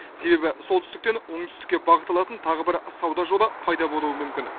себебі солтүстіктен оңтүстікке бағыт алатын тағы бір сауда жолы пайда болуы мүмкін